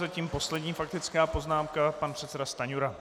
Zatím poslední faktická poznámka pan předseda Stanjura.